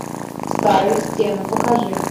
старые стены покажи